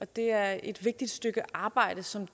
det er et vigtigt stykke arbejde som